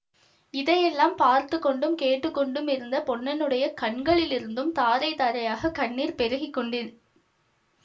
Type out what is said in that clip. இதையெல்லாம் பார்த்துக்கொண்டும் கேட்டு கொண்டும் இருந்த பொன்னனுடைய கண்களிலிருந்தும் தாரை தாரையாக கண்ணீர் பெருகி கொண்டி